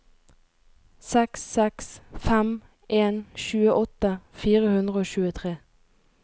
seks seks fem en tjueåtte fire hundre og tjuetre